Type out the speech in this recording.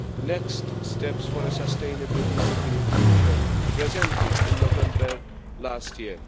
Next Steps for a Sustainable European Future' presented in November last year.